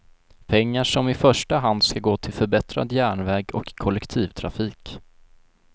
Pengar som i första hand ska gå till förbättrad järnväg och kollektivtrafik.